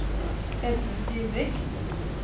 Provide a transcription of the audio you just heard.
Edmund Dybvik